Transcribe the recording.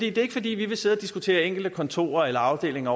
er ikke fordi vi vil sidde og diskutere enkelte kontorer eller afdelinger